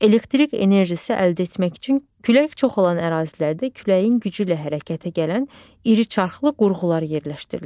Elektrik enerjisi əldə etmək üçün külək çox olan ərazilərdə küləyin gücü ilə hərəkətə gələn iri çarxlı qurğular yerləşdirilir.